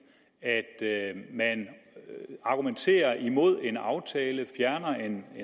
at man argumenterer imod en aftale fjerner en